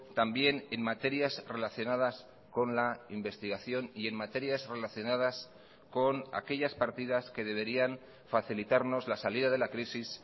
también en materias relacionadas con la investigación y en materias relacionadas con aquellas partidas que deberían facilitarnos la salida de la crisis